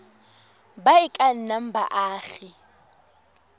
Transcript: ba e ka nnang baagi